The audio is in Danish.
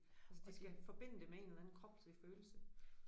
Altså de skal forbinde det med en eller anden kropslig følelse